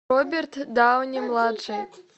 роберт дауни младший